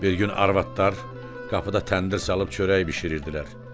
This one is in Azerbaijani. Bir gün arvadlar qapıda təndir salıb çörək bişirirdilər.